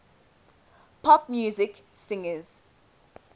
pop music singers